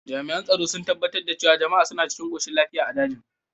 Jami’an tsaro sun tabbatar da cewa jama’a suna cikin koshin lafiya a dajin.